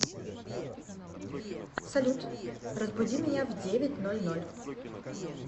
салют разбуди меня в девять ноль ноль